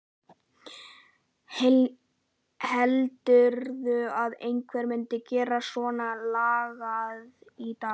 Heldurðu að einhver myndi gera svonalagað í dag?